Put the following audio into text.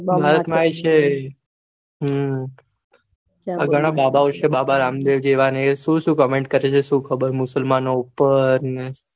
છે હમ અઘના બાબો ઓ છે સુ comment કરે છે સુ ખબર મુસલમાનો ઉપર ને